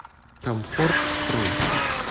комфортстрой